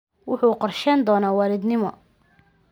Wuxuu qorsheyn doonaa walidnimo.